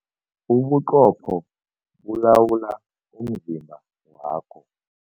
Ubuqopho bulawula umzimba wakho.